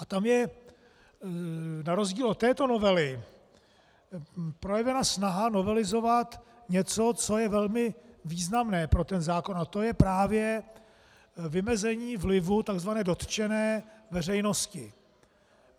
A tam je na rozdíl od této novely projevena snaha novelizovat něco, co je velmi významné pro ten zákon, a to je právě vymezení vlivu tzv. dotčené veřejnosti.